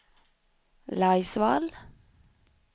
Laisvall